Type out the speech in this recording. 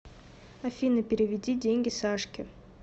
афина переведи деньги сашке